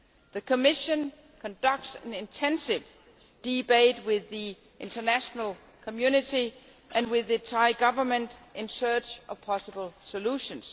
The Commission is conducting an intensive debate with the international community and the Thai Government, in a search for possible solutions.